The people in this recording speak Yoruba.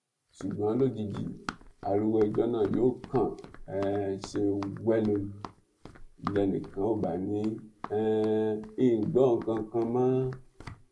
ṣùgbọn lójijì ariwo ẹjọ náà yóò kàn um ṣe wẹlo ni lẹnìkan ò bá ní um í gbọ nǹkan kan mọ